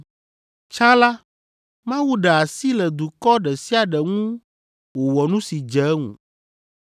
Tsã la, Mawu ɖe asi le dukɔ ɖe sia ɖe ŋu wòwɔ nu si dze eŋu.